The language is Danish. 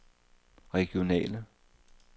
regionale